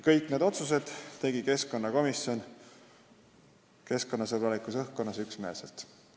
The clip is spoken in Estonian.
Kõik need otsused tegi keskkonnakomisjon keskkonnasõbralikus õhkkonnas ja üksmeelselt.